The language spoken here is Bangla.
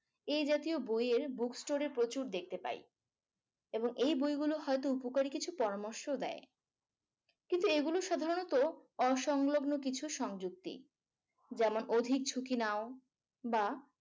এই জাতীয় বইয়ের book story প্রচুর দেখতে পাই এবং এই বইগুলো হয়তো উপকারী কিছু পরামর্শও দেয়। কিন্তু এগুলো সাধারণত অসংলগ্ন কিছু সংযুক্তি যেমন অধিক ঝুঁকি নাও বা